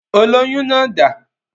Olóyún náà dà?